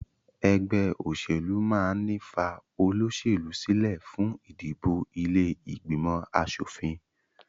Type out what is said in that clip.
Ẹgbẹ́ òṣèlú máà ń ní fa olóṣèlú sílẹ fún ìdìbò ilé ìgbìmọ̀ aṣòfin